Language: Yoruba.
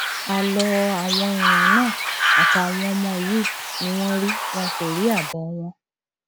àlọ àwọn èèyàn náà àtàwọn ọmọ yìí ni wọn rí wọn kò rí àbọ wọn